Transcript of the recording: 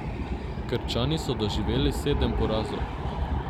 Krčani so doživeli sedem porazov.